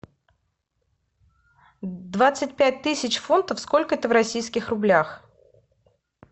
двадцать пять тысяч фунтов сколько это в российских рублях